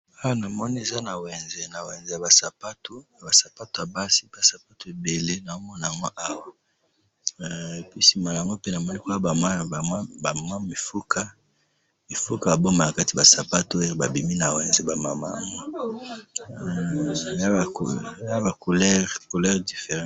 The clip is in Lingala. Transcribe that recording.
Awa namoni eza na wenze, na wenze ya ba sapato, ba sapato ya basi, ba sapato ebele namona ango Awa. Pe sima yango pe namoni Kuna ba mwa mifuka, mifuka bongo na kati ba sapato babimi na wenze ba mamans. Eza na ba couleurs différentes.